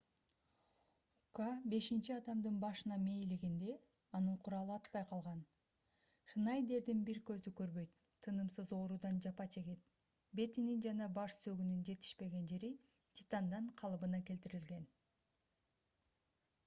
ука бешинчи адамдын башына мээлегенде анын куралы атпай калган шнайдердин бир көзү көрбөйт тынымсыз оорудан жапа чегет бетинин жана баш сөөгүнүн жетишпеген жери титандан калыбына келтирилген